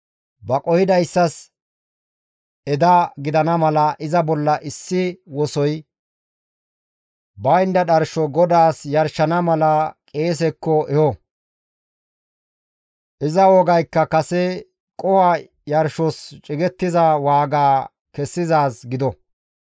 Ba qohidayssas eda gidana mala iza bolla issi wosoy baynda dharsho GODAAS yarshana mala qeesekko eho; iza wogaykka kase qoho yarshos cigettiza waaga kessizaaz gido.